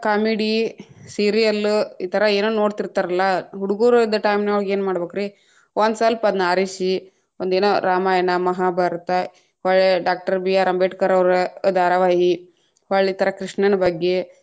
Comedy, serial ಈ ಥರಾ ಏನ್‌ ನೋಡ್ತೀತಾ೯ರಲ್ಲಾ, ಹುಡುಗೊರದ್ time ನೊಳಗ ಏನ್‌ ಮಾಡಬೇಕ್ರಿ, ಒಂದ ಸ್ವಲ್ಪ ಅದ್ನ ಆರಿಸಿ ಒಂದ ಏನ್‌ ರಾಮಾಯಣ, ಮಹಾಭಾರತ, ಹೊಳ್ಳಿ ಡಾಕ್ಟರ ಬಿ ಆರ್‌ ಅಂಬೇಡ್ಕರವರ ಧಾರಾವಾಹಿ, ಹೊಳ್ಳಿ ತರಾ ಕೃಷ್ಣನ ಬಗ್ಗೆ.